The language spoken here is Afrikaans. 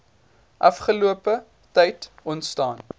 afgelope tyd ontstaan